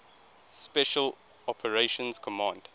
special operations command